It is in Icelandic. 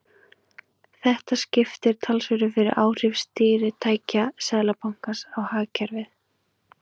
Þetta skiptir talsverðu fyrir áhrif stýritækja Seðlabankans á hagkerfið.